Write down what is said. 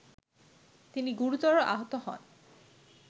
তিনি গুরুতর আহত হন